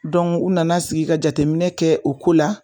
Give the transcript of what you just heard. Dɔn u nana sigi ka jateminɛ kɛ o ko la